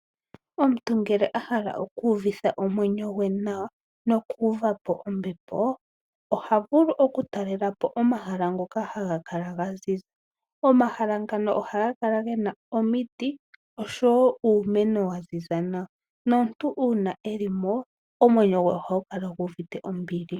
Omuntu ngele ohala oku uvitha omwenyo gwe nawa no ku uva po ombepo oha vulu okutalelapo omahala ngoka haga ziza .Omahala ngano ohaga kala gena omiti oshowo uumeno waziza nawa nomuntu uuna elimo omwenyo gwe ohagu kala guuvite ombili.